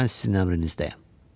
Mən sizin əmrinizdəyəm.